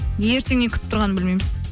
ертең не күтіп тұрғанын білмейміз